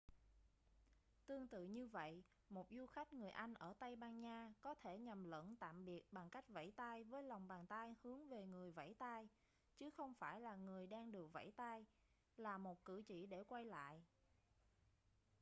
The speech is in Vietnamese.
tương tự như vậy một du khách người anh ở tây ban nha có thể nhầm lẫn tạm biệt bằng cách vẫy tay với lòng bàn tay hướng về người vẫy tay chứ không phải là người đang được vẫy tay là một cử chỉ để quay lại